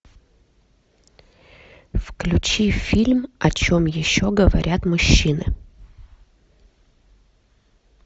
включи фильм о чем еще говорят мужчины